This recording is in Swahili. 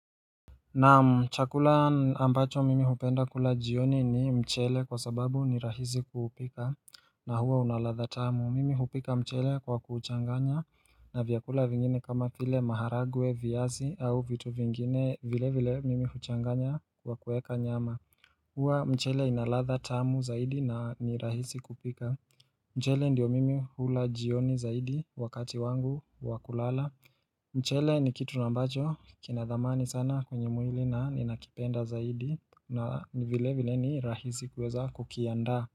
Naam chakula ambacho mimi hupenda kula jioni ni mchele kwa sababu ni rahizi kuupika na huwa unalatha tamu. Mimi hupika mchele kwa kuuchanganya na vyakula vingine kama vile maharagwe, viazi au vitu vingine vile vile mimi huchanganya kwa kuweka nyama. Huwa mchele inaladha tamu zaidi na ni rahisi kupika. Mchele ndio mimi hula jioni zaidi wakati wangu wakulala. Mchele ni kitu na ambacho kina dhamani sana kwenye mwili na ninakipenda zaidi na vile vile ni rahisi kuweza kukiandaa.